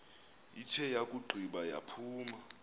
ithe yakugqiba yaphuma